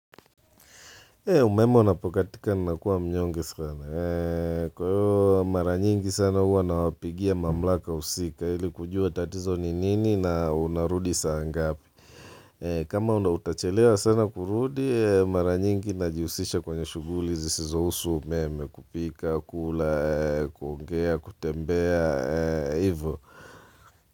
Umeme unapokatika nakuwa mnyonge sana. Kwa hiyo maranyingi sana huwa nawapigia mamlaka husika ili kujua tatizo ni nini na unarudi saa ngapi. Kama unautachelewa sana kurudi maranyingi na jihusisha kwenye shughuli zisizo husu umeme kupika, kula, kuongea, kutembea, hivyo.